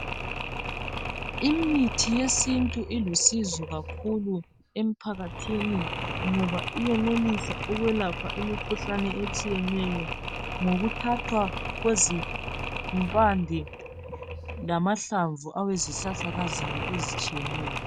Imithi yesintu ilusizo kakhulu emphakathini ngoba iyenelisa ukwelapha imikhuhlane etshiyeneyo ngokuthathwa kwezimpande lamahlamvu ezihlahlakazana ezitshiyeneyo.